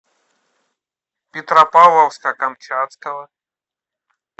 петропавловска камчатского